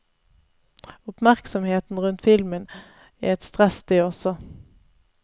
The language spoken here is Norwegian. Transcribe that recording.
Oppmerksomheten rundt filmen er et stress det også.